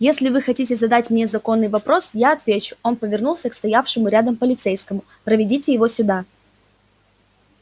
если вы хотите задать мне законный вопрос я отвечу он повернулся к стоявшему рядом полицейскому проведите его сюда